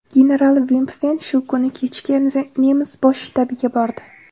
General Vimpfen shu kuni kechga nemis bosh shtabiga bordi.